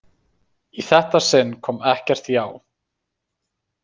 Í þetta sinn kom ekkert já.